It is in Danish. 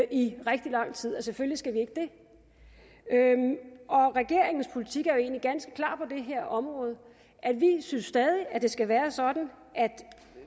i rigtig lang tid at selvfølgelig skal vi ikke det og regeringens politik er jo egentlig ganske klar det her område vi synes stadig at det skal være sådan at